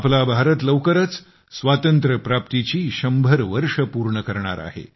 आपला भारत लवकरच स्वातंत्र्यप्राप्तीची शंभर वर्षे पूर्ण करणार आहे